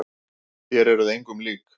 Þér eruð engum lík!